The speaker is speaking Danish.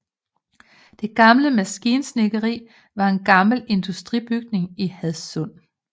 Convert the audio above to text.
Det Gamle Maskinsnedkeri var en gammel industribygning i Hadsund